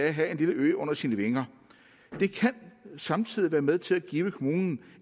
at have en lille ø under sine vinger det kan samtidig være med til at give kommunen